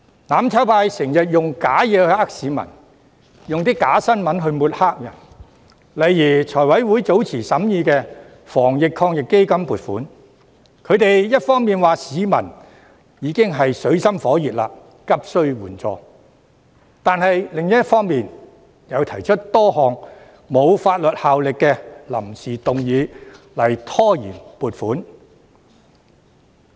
"攬炒派"經常用虛假的事情欺騙市民，又用假新聞抹黑別人，例如財務委員會早前審議防疫抗疫基金撥款時，他們一方面指市民已經處於水深火熱，急須援助，但另一方面卻提出多項沒有法律效力的臨時議案拖延撥款。